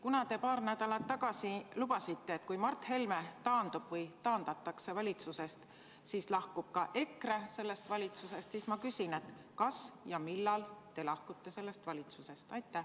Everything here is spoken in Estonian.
Kuna te paar nädalat tagasi lubasite, et kui Mart Helme taandub või taandatakse valitsusest, siis lahkub ka EKRE sellest valitsusest, siis ma küsin, kas ja millal te sellest valitsusest lahkute.